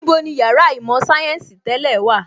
Níbo ni Yàrá īmò sayensi tẹ́lẹ̀ wà?